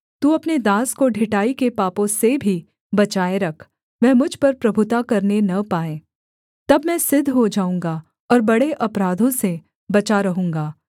तू अपने दास को ढिठाई के पापों से भी बचाए रख वह मुझ पर प्रभुता करने न पाएँ तब मैं सिद्ध हो जाऊँगा और बड़े अपराधों से बचा रहूँगा